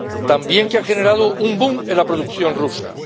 También que ha generado un boom en la producción rusa.